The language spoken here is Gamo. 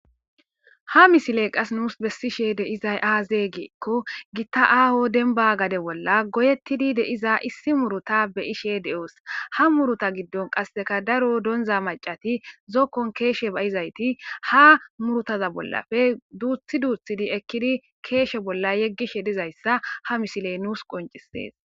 Ha misiley qas nuus bessishe de'izay aazeeygeekko gitta aaho denba gade bolla goyettidi de'iza issi muruta beyishe de'oos ha muruta giddon qasseka daro donza macati zokkon keeshe ba'izayti ha murutaza bollafe duuththi duuthidi ekkidi keeshe bolla yeggishe dizayssa ha misiley nuus qoncisees